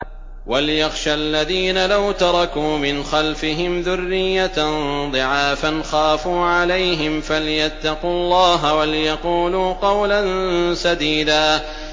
وَلْيَخْشَ الَّذِينَ لَوْ تَرَكُوا مِنْ خَلْفِهِمْ ذُرِّيَّةً ضِعَافًا خَافُوا عَلَيْهِمْ فَلْيَتَّقُوا اللَّهَ وَلْيَقُولُوا قَوْلًا سَدِيدًا